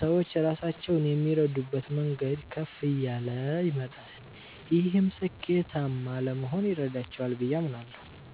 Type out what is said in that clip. ሰዎች ራሳቸውን የሚረዱበት መንገድ ከፍ እያለ ይመጣል። ይህም ስኬታማ ለመሆን ይረዳቸዋል ብዬ አምናለሁ።